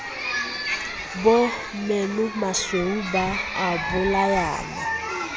bo menomasweu ba o bolayang